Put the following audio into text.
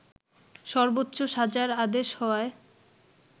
সর্বোচ্চ সাজার আদেশ হওয়ায়